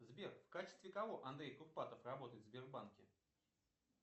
сбер в качестве кого андрей курпатов работает в сбербанке